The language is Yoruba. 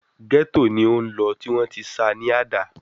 Gẹ́tò ni ó lọ, tí wọ́n tí ṣa ní àdá